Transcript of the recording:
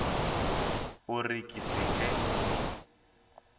o re ke se ke